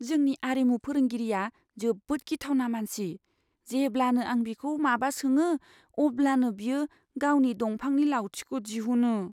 जोंनि आरिमु फोरोंगिरिया जोबोद गिथावना मानसि। जेब्लानो आं बिखौ माबा सोङो, अब्लानो बियो गावनि दंफांनि लावथिखौ दिहुनो।